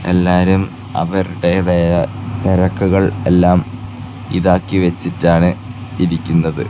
എല്ലാവരും അവരുടെ തായ തിരക്കുകൾ എല്ലാം ഇതാക്കി വെച്ചിട്ടാണ് ഇരിക്കുന്നത്.